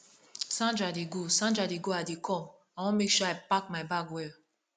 sandra dey go sandra dey go i dey come i wan make sure i pack my bag well